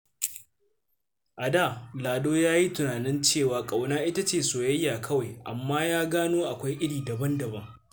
A da, Lado ya yi tunanin cewa ƙauna ita ce soyayya kawai, amma ya gano akwai iri daban-daban.